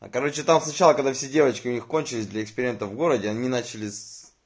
а короче там сначала когда все девочки у них кончились для эксперимента в городе они начали с